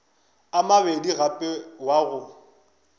a mabedi gape wa go